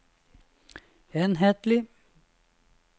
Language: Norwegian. enhetlig